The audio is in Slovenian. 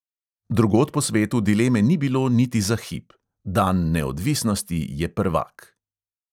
Drugod po svetu dileme ni bilo, niti za hip: dan neodvisnosti je prvak.